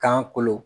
Kan kolo